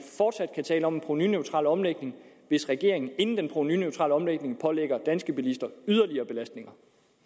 fortsat kan tale om en provenuneutral omlægning hvis regeringen inden den provenuneutrale omlægning pålægger danske bilister yderligere belastninger